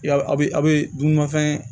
Ya a bɛ a' bɛ dunmafɛn